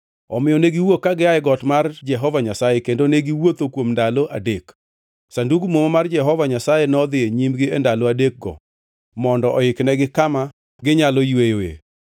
Omiyo ne giwuok ka gia e got mar Jehova Nyasaye kendo ne giwuotho kuom ndalo adek. Sandug Muma mar Jehova Nyasaye nodhi nyimgi e ndalo adekgo mondo oiknegi kama ginyalo yweyoe.